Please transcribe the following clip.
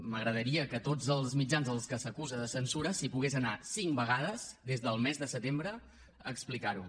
m’agradaria que a tots els mitjans als quals s’acusa de censura s’hi pogués anar cinc vegades des del mes de setembre a explicar ho